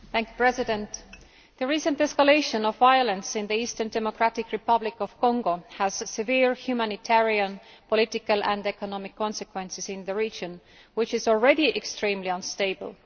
Mr President, the recent escalation of violence in the eastern Democratic Republic of Congo has severe humanitarian, political and economic consequences in the region, which is already extremely unstable.